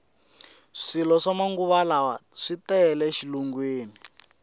swilo swa manguvalawa tele e xilungwini